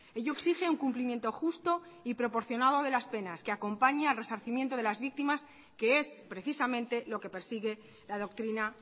ello exige un cumplimiento justo y proporcionado de las penas que acompañe al resarcimiento de las víctimas que es precisamente lo que persigue la doctrina